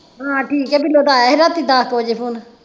ਹਾਂ ਠੀਕ ਆ ਬਿਲੋ ਦਾ ਆਇਆ ਹੀ ਰਾਤੀ ਦਹ ਕਿ ਵਜੇ phone